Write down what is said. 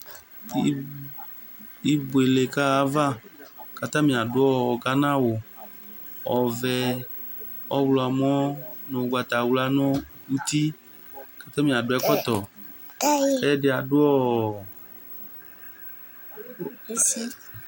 Ibuele kaɣa ayava, kʋ atani adu gana awu ɔvɛ, ɔɣlɔmɔ nʋ ugbatawla nʋ uti, kʋ atani adu ɛkɔtɔ